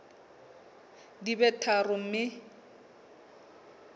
di be tharo mme o